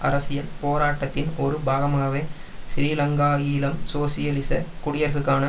அரசியல் போராட்டத்தின் ஒரு பாகமாகவே ஸ்ரீலங்காஈழம் சோசியலிச குடியரசுக்கான